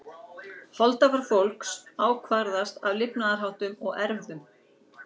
Holdafar fólks ákvarðast af lifnaðarháttum og erfðum.